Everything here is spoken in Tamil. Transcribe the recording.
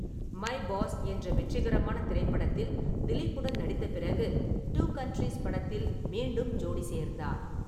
மை பாஸ் என்ற வெற்றிகரமான திரைப்படத்தில் திலீப்புடன் நடித்த பிறகு, டூ கண்ட்ரீஸ் படத்தில் மீண்டும் ஜோடி சேர்ந்தார்.